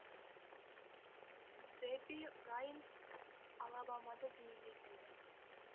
дебби райан алабамада дүниеге келді